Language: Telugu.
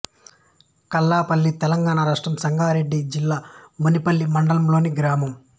కల్లపల్లి తెలంగాణ రాష్ట్రం సంగారెడ్డి జిల్లా మునిపల్లి మండలంలోని గ్రామం